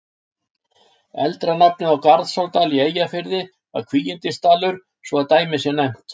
Eldra nafn á Garðsárdal í Eyjafirði var Kvígindisdalur, svo að dæmi sé nefnt.